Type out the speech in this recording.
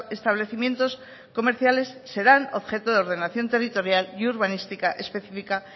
establecimientos comerciales serán objeto de ordenación territorial y urbanística específica